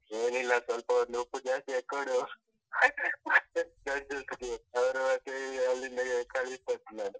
ಏನಿಲ್ಲ ಸ್ವಲ್ಪ ಒಂದು ಉಪ್ಪು ಜಾಸ್ತಿ ಹಾಕಿ ಕೊಡು judges ಗೆ ಅವ್ರು ಮತ್ತೆ ಅಲ್ಲಿಂದಲೇ ಕಳಿಸ್ತಾರೆ.